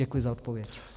Děkuji za odpověď.